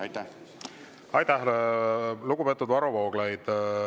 Aitäh, lugupeetud Varro Vooglaid!